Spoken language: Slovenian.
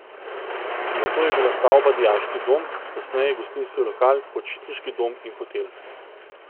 Nato je bila stavba dijaški dom, kasneje gostinski lokal, počitniški dom in hotel.